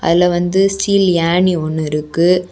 இதுல வந்து ஸ்டீல் ஏணி ஒன்னு இருக்கு.